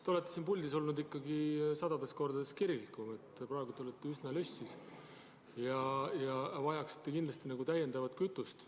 Te olete siin puldis olnud ikkagi sadu kordi kirglikum, praegu te olete üsna lössis ja vajaksite nagu täiendavat kütust.